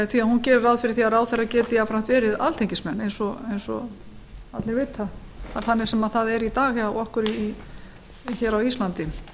því hún gerir ráð fyrir því að ráðherrar geti jafnframt verið alþingismenn eins og allir vita það er þannig sem það er í dag hjá okkur á íslandi